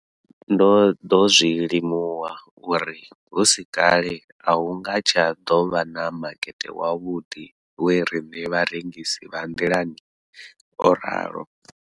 Ndo ḓo zwi limuwa uri hu si kale a hu nga tsha ḓo vha na makete wavhuḓi wa riṋe vharengisi vha nḓilani, o ralo.